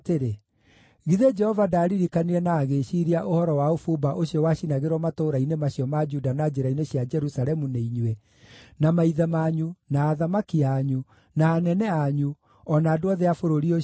“Githĩ Jehova ndaaririkanire na agĩĩciiria ũhoro wa ũbumba ũcio wacinagĩrwo matũũra-inĩ macio ma Juda na njĩra-inĩ cia Jerusalemu nĩ inyuĩ, na maithe manyu, na athamaki anyu, na anene anyu, o na andũ othe a bũrũri ũcio?